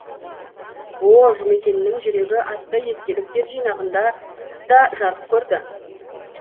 ол жұмекеннің жүрегі атты естеліктер жинағында да жарық көрді